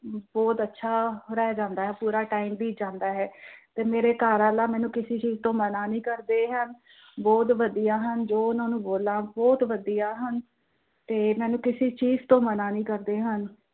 ਬਹੁਤ ਅੱਛਾ ਰਹਿ ਜਾਂਦਾ ਹੈ ਪੂਰਾ time ਬੀਤ ਜਾਂਦਾ ਹੈ, ਤੇ ਮੇਰੇ ਘਰਵਾਲਾ ਕਿਸੇ ਚੀਜ਼ ਤੋਂ ਮਨਾਂ ਨਹੀਂ ਕਰਦੇ ਹਨ, ਬਹੁਤ ਵਧੀਆ ਹਨ ਜੋ ਉਹਨਾਂ ਨੂੰ ਬੋਲਾ ਬਹੁਤ ਵਧੀਆ ਹਨ, ਤੇ ਮੈਂਨੂੰ ਕਿਸੀ ਚੀਜ਼ ਤੋਂ ਮਨਾਂ ਨਹੀਂ ਕਰਦੇ ਹਨ।